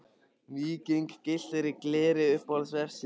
Víking gylltur í gleri Uppáhalds vefsíða?